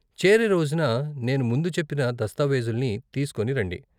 చేరే రోజున నేను ముందు చెప్పిన దస్తావేజుల్ని తీస్కోని రండి.